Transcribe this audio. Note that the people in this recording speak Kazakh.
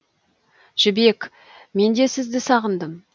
жібек менде сізді сағындым